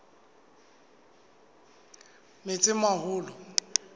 metsimaholo